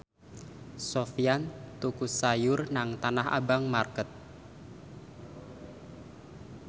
Sofyan tuku sayur nang Tanah Abang market